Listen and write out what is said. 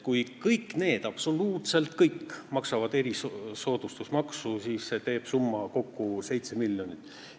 Kui absoluutselt kõik maksavad erisoodustusmaksu, siis see summa teeb kokku 7 miljonit.